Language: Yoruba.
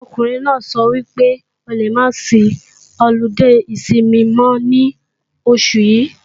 Ọkùnrin náà sọ wípé o lè máa sí ọludé ìsinmi mọ́ ní oṣù yí